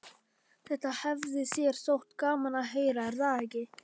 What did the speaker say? Þetta hefði þér þótt gaman að heyra, er það ekki?